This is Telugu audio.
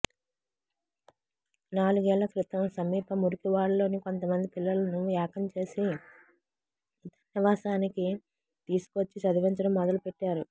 నాలుగేళ్ల క్రితం సమీప మురికివాడలోని కొంతమంది పిల్లలను ఏకం చేసి తన నివాసానికి తీసుకొచ్చి చదివించడం మొదలుపెట్టారు